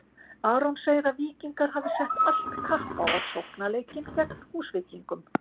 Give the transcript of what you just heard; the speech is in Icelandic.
Aron segir að Víkingar hafi sett allt kapp á sóknarleikinn gegn Húsvíkingum.